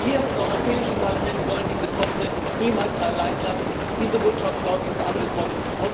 Wir im Europäischen Parlament wollen die Betroffenen niemals allein lassen. Diese Botschaft ist, glaube ich, angekommen.